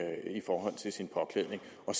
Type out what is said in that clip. en